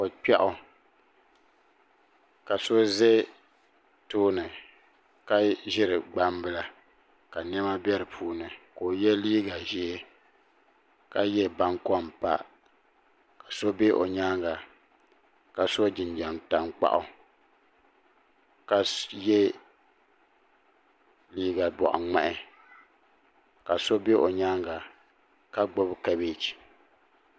ko kpiaw ka so ʒɛ tooni ka ʒiri gbambila ka niɛma bɛ di puuni ka o yɛ liiga ʒiɛ ka yɛ baŋkom pa ka so bɛ o nyaanga ka so jinjɛm tankpaɣu ka yɛ liiga boɣa ŋmahi ka so bɛ o nyaanga ka gbubi kabɛji